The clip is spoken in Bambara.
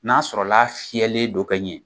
N'a sɔrɔla fiyɛlen don ka ɲɛ.